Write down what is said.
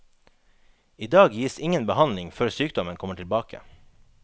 I dag gis ingen behandling før sykdommen kommer tilbake.